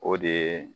O de ye